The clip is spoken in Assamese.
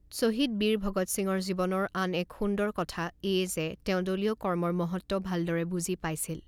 শ্বহীদ বীৰ ভগৎ সিঙৰ জীৱনৰ আন এক সুন্দৰ কথা এয়ে যে তেওঁ দলীয় কৰ্মৰ মহত্ব ভালদৰেই বুজি পাইছিল।